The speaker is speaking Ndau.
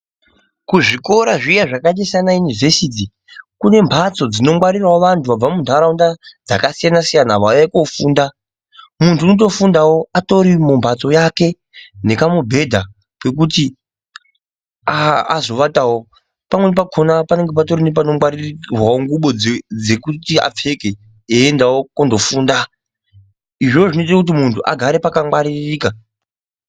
Kuzvikora zviyani zvakaita sana yunivhesiti kune mbatso dzinongwarirawo vantu vabva muntaraunda dzakasiyana siyana vauya kofunda. Muntu unotofundawo atori mumbatso yake nekamubhedha kekuti azovatawo. Pamweni pakona paanenge patori nepanogwarirwawo ngubo dzekuti apfeke eyiendawo kundofunda. Izvozvo zvinoite kuti muntu agare pakangwaririka.